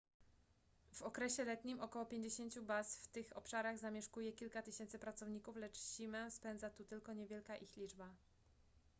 w okresie letnim około pięćdziesięciu baz w tych obszarach zamieszkuje kilka tysięcy pracowników lecz zimę spędza tu tylko niewielka ich liczba